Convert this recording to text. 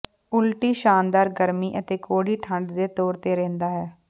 ਉਲਟੀ ਸ਼ਾਨਦਾਰ ਗਰਮੀ ਅਤੇ ਕੌੜੀ ਠੰਡੇ ਦੇ ਤੌਰ ਤੇ ਰਹਿੰਦਾ ਹੈ